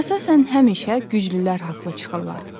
Əsasən həmişə güclülər haqlı çıxırlar.